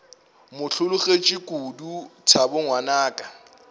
mo hlologetše kodu thabo ngwanaka